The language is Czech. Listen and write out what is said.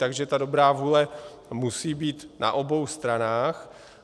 Takže ta dobrá vůle musí být na obou stranách.